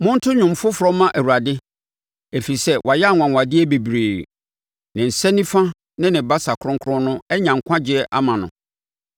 Monto dwom foforɔ mma Awurade, ɛfiri sɛ wayɛ anwanwadeɛ bebree; ne nsa nifa ne ne basa kronkron no anya nkwagyeɛ ama no.